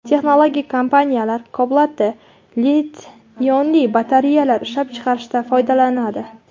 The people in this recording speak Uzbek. Texnologik kompaniyalar kobaltda litiy-ionli batareyalar ishlab chiqarishda foydalanadi.